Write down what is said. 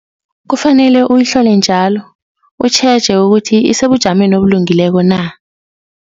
Kufanele uyihlole njalo, utjheje ukuthi isebujameni obulungileko na.